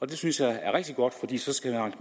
det synes jeg er rigtig godt fordi så skal herre